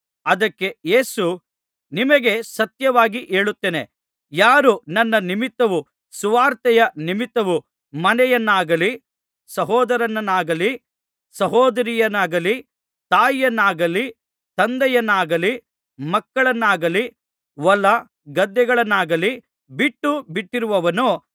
ಅದಕ್ಕೆ ಯೇಸು ನಿಮಗೆ ಸತ್ಯವಾಗಿ ಹೇಳುತ್ತೇನೆ ಯಾರು ನನ್ನ ನಿಮಿತ್ತವೂ ಸುವಾರ್ತೆಯ ನಿಮಿತ್ತವೂ ಮನೆಯನ್ನಾಗಲಿ ಸಹೋದರರನ್ನಾಗಲಿ ಸಹೋದರಿಯರನ್ನಾಗಲಿ ತಾಯಿಯನ್ನಾಗಲಿ ತಂದೆಯನ್ನಾಗಲಿ ಮಕ್ಕಳನ್ನಾಗಲಿ ಹೊಲಗದ್ದೆಗಳನ್ನಾಗಲಿ ಬಿಟ್ಟು ಬಿಟ್ಟಿರುವನೋ